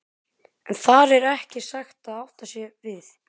En þar með er ekki sagt að átt sé við